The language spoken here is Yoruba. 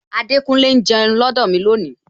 Adekunle ń jẹun lọdọ mi lónìí